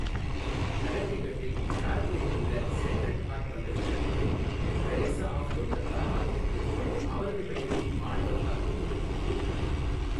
கனெக்டிகட்டில், ஃபேர்ஃபீல்டில் உள்ள Sacred Heart பல்கலைக்கழகத்தில் தெரேசா ஆஃப் கொல்கத்தா ஹால் என்று அவரது பெயரில் மாணவர் தங்கும் விடுதி ஒன்று உள்ளது.